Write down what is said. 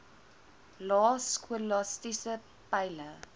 lae skolastiese peile